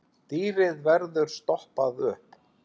Dýrið verður stoppað upp.